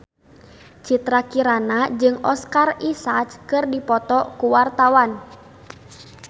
Citra Kirana jeung Oscar Isaac keur dipoto ku wartawan